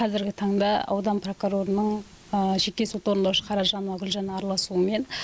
қазіргі таңда аудан прокурорының жеке сот орындаушы қаражанова гүлжанның араласуымен